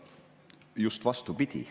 Just vastupidi.